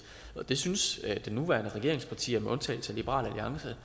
det synes de nuværende regeringspartier med undtagelse af liberal alliance